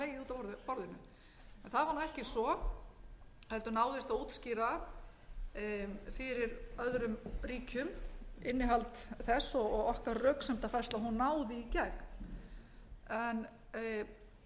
var nú ekki svo heldur náðist að útskýra fyrir öðrum ríkjum innihald þess og okkar röksemdafærsla náði í gegn en ég ætla ekkert að draga fjöður yfir það